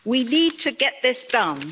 We need to get this done.